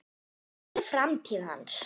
Hver er framtíð hans?